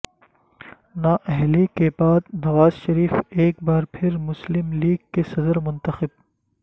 نااہلی کے بعد نوازشریف ایک بار پھر مسلم لیگ کے صدر منتخب